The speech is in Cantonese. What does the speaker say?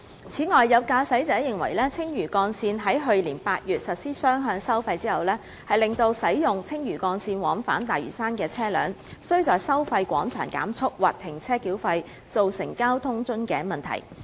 此外，有駕駛者認為，青嶼幹線於去年8月實施雙向收費，令使用青嶼幹線往返大嶼山的車輛需在收費廣場減速或停車繳費，造成交通樽頸問題。